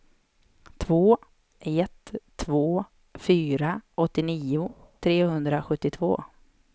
två ett två fyra åttionio trehundrasjuttiotvå